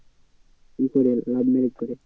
এ করে love marriage করে?